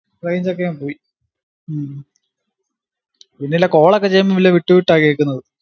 range ക്കെ പോയി ഉം ഇല്ലല്ലാ call ക്കെ ചെയ്യുമ്പോ വിട്ട് വിട്ടാ കേക്കുന്നത്